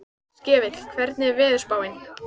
Skefill, hvernig er veðurspáin?